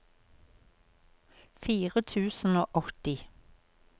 fire tusen og åtti